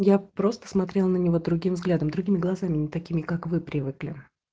я просто смотрела на него другим взглядом другими глазами не такими как вы привыкли